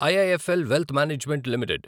IIFL wealth management limited